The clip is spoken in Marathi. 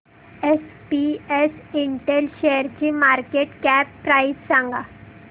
एसपीएस इंटेल शेअरची मार्केट कॅप प्राइस सांगा